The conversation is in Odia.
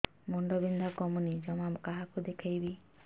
ମୁଣ୍ଡ ବିନ୍ଧା କମୁନି ଜମା କାହାକୁ ଦେଖେଇବି